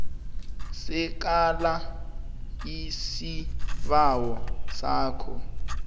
sekela isibawo sakho